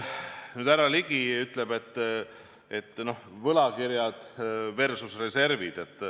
Nüüd, härra Ligi ütleb, et võlakirjad versus reservid.